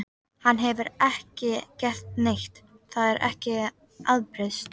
Hann hefur ekki gert neitt, það get ég ábyrgst.